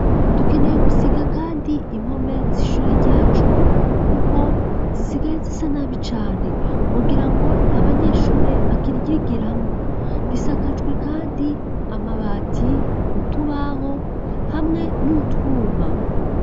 Dukeneye gusiga kandi impome z'ishure ryacu kuko zisigaye zisa nabi cane ugira ngo nta banyeshuri bakiryigiramwo risakajwe kandi amabati, utubaho hamwe n'utwuma.